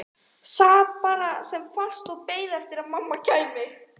Sat bara sem fastast og beið eftir að mamma kæmi.